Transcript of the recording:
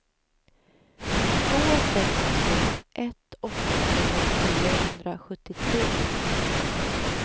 två sex två ett åttiotvå niohundrasjuttiotre